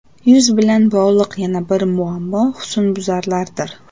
Yuz bilan bog‘liq yana bir muammo husnbuzarlardir.